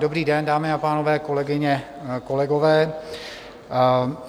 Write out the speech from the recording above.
Dobrý den, dámy a pánové, kolegyně, kolegové.